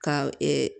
Ka